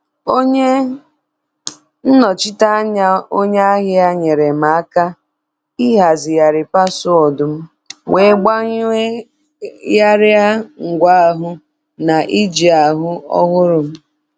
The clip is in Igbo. Onye nnochite anya onye ahịa nyeere m aka ịhazigharị paswọọdụ m wee gbanyegharịa ngwa ahụ na njiarụ ọhụrụ m.